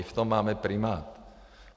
I v tom máme primát.